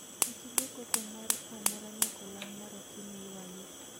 Kik igo koko moro amora nyaka olang' mar okinyi ywagi